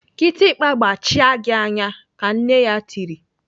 "Kịtịkpa gbachaa gị anya!" Ka nna ya tiri.